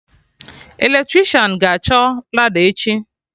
Eletricịan ga-achọ lada echi